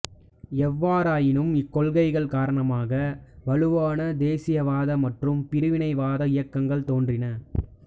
எவ்வாறாயினும் இக்கொள்கைகள் காரணமாக வலுவான தேசியவாத மற்றும் பிரிவினைவாத இயக்கங்கள் தோன்றின